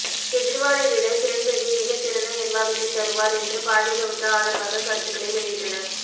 கெஜ்ரிவாலை விட கிரண்பேடி மிக சிறந்த நிர்வாகத்தை தருவார் என்று பாஜகவுக்கு ஆதரவாக கருத்துக்களை வெளியிட்டனர்